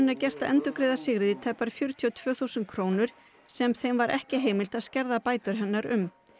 er gert að endurgreiða Sigríði tæpar fjörutíu og tvö þúsund krónur sem þeim var ekki heimilt að skerða bætur hennar um